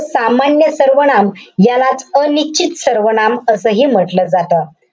सामान्य सर्वनाम. यालाच अनिश्चित सर्वनाम असंही म्हंटल जातं.